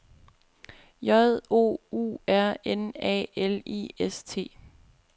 J O U R N A L I S T